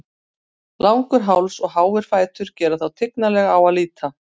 Langur háls og háir fætur gera þá tignarlega á að líta.